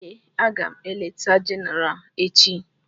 Èè, aga m eleta Jenéral echi